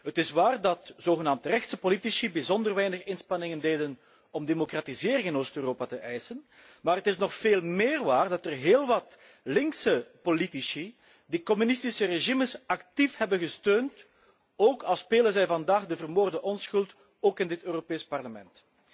Het is waar dat zogenaamde rechtse politici bijzonder weinig inspanningen deden om democratisering in Oost Europa te eisen, maar het nog veel meer waar dat er heel wat linkse politici die communistische regimes actief hebben gesteund, ook al spelen zij vandaag de vermoorde onschuld, ook in dit Parlement.